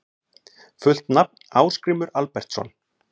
Fullt nafn: Ásgrímur Albertsson